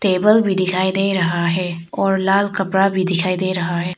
Table भी दिखाई दे रहा है और लाल कपड़ा भी दिखाई दे रहा है।